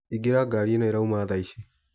Ingĩra ngari ĩno ĩrauma thaici.